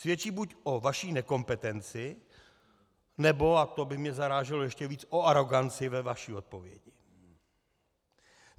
Svědčí buď o vaší nekompetenci, nebo - a to by mě zaráželo ještě víc - o aroganci ve vaší odpovědi.